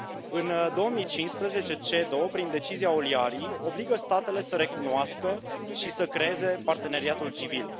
În 2015 CEDO, prin decizia Oliari obligă statele să recunoască și să creeze parteneriatul civil.